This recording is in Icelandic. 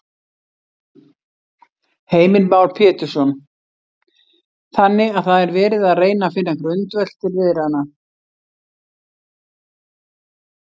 Heimir Már Pétursson: Þannig að það er verið að reyna finna grundvöll til viðræðna?